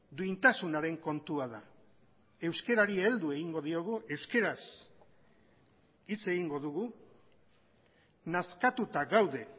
duintasunaren kontua da euskarari heldu egingo diogu euskaraz hitz egingo dugu nazkatuta gaude